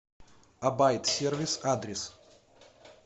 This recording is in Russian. абайт сервис адрес